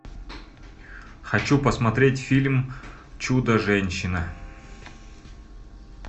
хочу посмотреть фильм чудо женщина